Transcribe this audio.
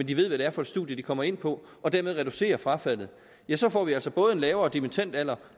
de ved hvad det er for studium de kommer ind på og dermed reducerer frafaldet ja så får vi altså både en lavere dimittendalder